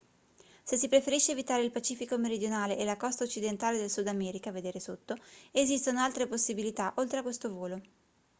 se si preferisce evitare il pacifico meridionale e la costa occidentale del sud america vedere sotto esistono altre possibilità oltre a questo volo